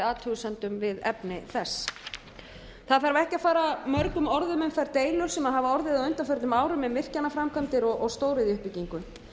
athugasemdum við efni þess það þarf ekki að fara mörgum orðum um þær deilur sem hafa orðið á undanförnum árum um virkjanaframkvæmdir og stóriðjuuppbyggingu